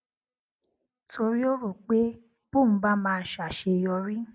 torí ó rò pé bóun bá máa ṣàṣeyọrí